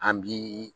An bi